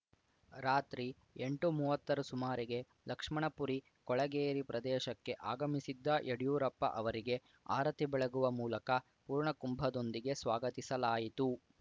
ರಾತ್ರಿ ಎಂಟುಮೂವತ್ತರ ಸುಮಾರಿಗೆ ಲಕ್ಷ್ಮಣಪುರಿ ಕೊಳಗೇರಿ ಪ್ರದೇಶಕ್ಕೆ ಆಗಮಿಸಿದ್ದ ಯಡಿಯೂರಪ್ಪ ಅವರಿಗೆ ಆರತಿ ಬೆಳಗುವ ಮೂಲಕ ಪೂರ್ಣ ಕುಂಭದೊಂದಿಗೆ ಸ್ವಾಗತಿಸಲಾಯಿತು